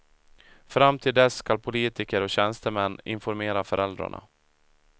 Fram till dess skall politiker och tjänstemän informera föräldrarna.